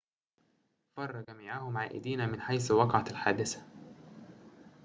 فرّ جميعهم عائدين من حيث وقعت الحادثة